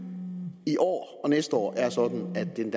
i år og næste år er sådan at det er